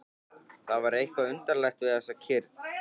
Það var eitthvað undarlegt við þessa kyrrð.